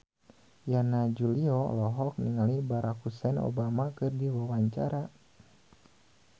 Yana Julio olohok ningali Barack Hussein Obama keur diwawancara